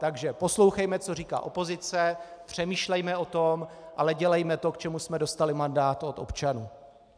Takže poslouchejme, co říká opozice, přemýšlejme o tom, ale dělejme to, k čemu jsme dostali mandát od občanů.